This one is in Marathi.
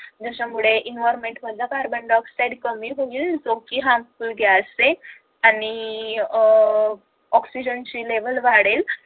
त्याच्यामुळे environment मधला carbon dioxide कमी होईल जो कि harmful gas आहे आणि अह oxygen level वाढेल